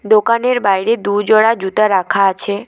দোকানের বাইরে দুজোড়া জুতা রাখা আছে।